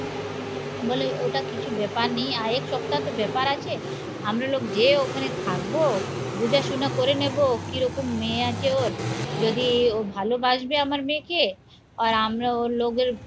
বলে ওটা কিছু ব্যাপার নেই আর এক সপ্তাহ তো ব্যাপার আছে আমরা লোক যে ওখানে থাকবো বুঝা শুনা করে নেবো কিরকম মেয়ে আছে ওর যদি ও ভালোবাসবে আমার মেয়েকে আর আমরা ওর লোকের